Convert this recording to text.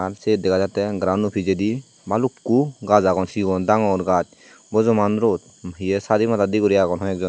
ai siyut dega jattey grounno pijedi balukku gach agon sigon dangor gach bojoman rod hiyey sadi madat di agon hoyek joney.